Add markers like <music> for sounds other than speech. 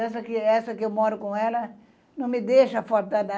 Essa, essa que eu moro com ela não me deixa <unintelligible>